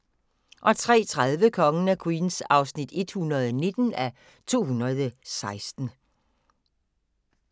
03:30: Kongen af Queens (119:216)